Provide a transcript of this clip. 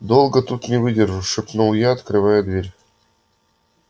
долго тут не выдержу шепнул я открывая дверь